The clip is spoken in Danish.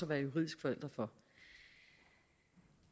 være juridisk forælder for